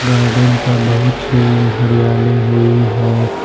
Garden पर बहुत सी हरियाली हुई है।